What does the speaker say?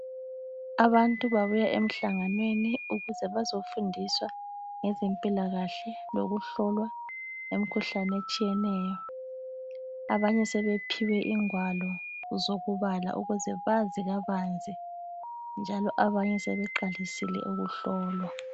Abantu babuya emhlanganweni ukuze bazofundiswa ngezempilakahle lokuhlolwa imkhuhlane etshiyeneyo. Abanye sebephiwe ingwalo zokubhala ukuze bazi kabanzi, njalo abanye sebeqalisile ukuhlolwa.